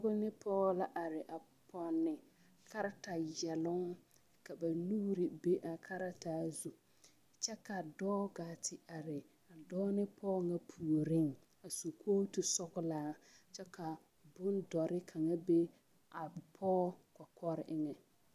Kponni pɔge la a are a pɔnne karataa yɛloŋ ka ba nuuri be a karataa zu kyɛ ka a dɔɔ gaa te are dɔɔ ne pɔge ŋa puoriŋ a su kootu sɔglaa kyɛ ka boŋ dɔre kaŋa be a pɔge kɔkɔre eŋɛ.